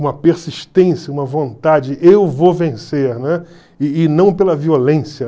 uma persistência, uma vontade, eu vou vencer, né, e e não pela violência.